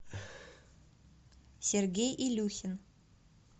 сергей илюхин